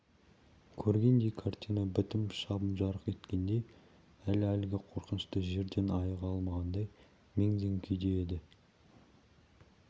көргендей картина бітіп шам жарқ еткендей әлі әлгі қорқынышты жерден айыға алмағандай мең-зең күйде еді